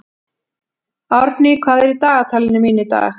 Árný, hvað er í dagatalinu mínu í dag?